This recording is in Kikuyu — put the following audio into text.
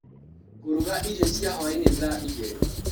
Ngũruga irio cia hwainĩ thaa igĩrĩ.